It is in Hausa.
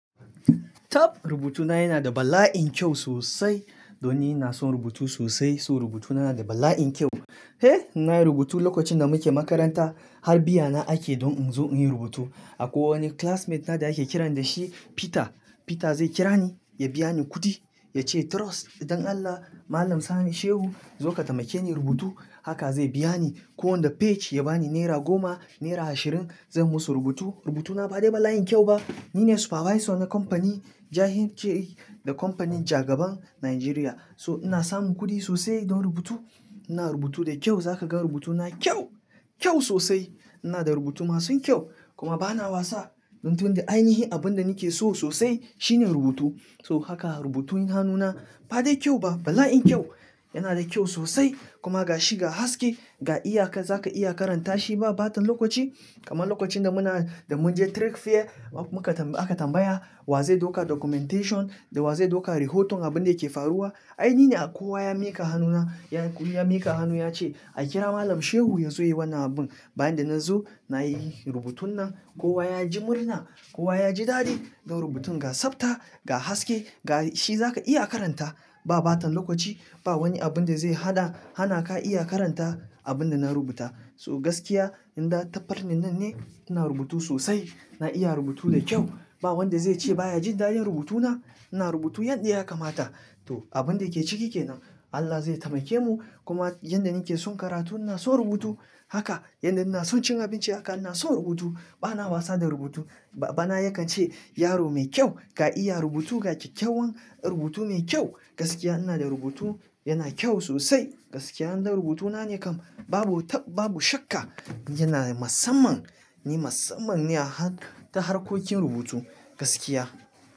Top rubutuna yana da bala'in kyau sosai. Don ni ina son rubutu sosai, so rubutuna yana da bala'in kyau. Eh, na yi rubutu lokacin da muke makaranta har biya na ake don in zo in yi rubutu. Akwai wani classmate na da ake kiran da shi Peter. Peter zai kira ni ya biya ni kuɗi ya ce: "Trust don Allah Malam Sani Shehu zo ka taimake ni rubutu." Haka zai biya ni. Kowane page ya bani naira goma, naira ashirin, zan musu rubutu. Rubutuna ba dai bala'in kyau ba. Ni ne supervisor na kamfani, jahin ke da kamfanin jagaban Najeriya. So ina samun kuɗi sosai don rubutu. Ina rubutu da kyau, za ka ga rubutuna kyau, kyau sosai. Ina da rubutu masu kyau kuma ba na wasa. Don tun da ainihi abin da nake so sosai shine rubutu. So haka rubutun hannuna ba dai kyau ba, bala'in kyau. Yana da kyau sosai kuma ga shi ga haske, ga iyaka za ka iya karanta shi ba ɓatan lokaci. Kamar lokacin da muna, da mun je trek fair muka tambaya, aka tambaya wa zai ɗauka documentation da wa zai ɗauka rihotun abin da yake faruwa. Ainihi akowa ya miƙa hannuna, ya miƙa hannu ya ce a kira Malam Shehu ya zo ya yi wannan abin. Bayan da na zo na yi rubutun nan kowa ya ji murna, kowa ya ji dadi don rubutun ga tsafta, ga haske, ga shi za ka iya karanta ba ɓatan lokaci. Ba wani abun da zai haɗa, hana ka iya karanta abin da na rubuta. So gaskiya inda ta far ne nan ne ina rubutu sosai. Na iya rubutu da kyau. Ba wanda zai ce baya jin da'in rubutuna. Ina rubutu yadda ya kamata. To abun da ke ciki ke nan. Allah zai taimake mu kuma yanda nake son karatu ina son rubutu haka. Yanda ina son cin abinci haka ina son rubutu. Ba na wasa da rubutu. Ba, bana yakan ce yaro mai kyau, ka iya rubutu gake kyawan rubutu mai kyau. Gaskiya ina da rubutu yana kyau sosai. Gaskiya inda rubutuna ne kam babu ta, babu shakka yana da masamman. Ni masammani a har, ta harkokin rubutu gaskiya.